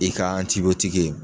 I ka